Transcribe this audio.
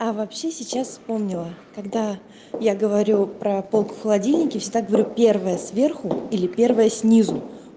а вообще сейчас вспомнила когда я говорю про полку в холодильнике всегда говорю первая сверху или первая снизу